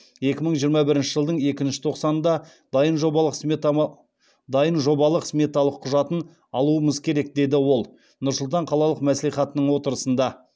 екі мың жиырма бірінші жылдың екінші тоқсанында дайын жобалық сметалық құжатын алуымыз керек деді ол нұр сұлтан қалалық мәслихатының отырысында